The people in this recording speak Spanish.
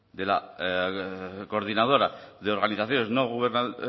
de la coordinadora del organizaciones no gubernamentales